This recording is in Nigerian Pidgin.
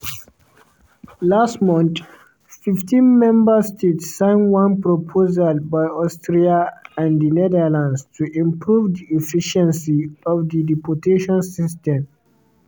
last month 15 member states sign one proposal by austria and di netherlands to improve di "efficiency" of di deportations system.